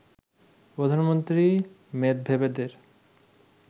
প্রধানমন্ত্রী মেদভেদেবের